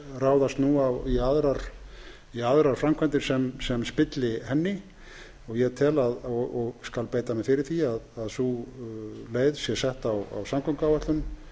ráðast nú í aðrar framkvæmdir sem spilla henni ég skal beita mér fyrir því að sú leið sé sett á samgönguáætlun